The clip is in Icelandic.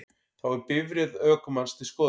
Þá er bifreið ökumanns til skoðunar